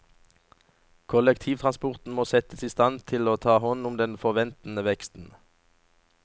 Kollektivtransporten må settes i stand til å ta hånd om den forventede veksten.